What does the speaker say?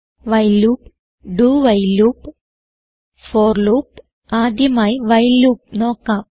while loop dowhile loop for loop ആദ്യമായി while loop നോക്കാം